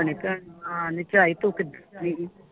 ਆ ਨੇ ਝਾਈ ਤੂੰ ਕਿੱਧਰ ਆਈ